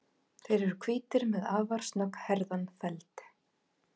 Þeir eru hvítir með afar snögghærðan feld.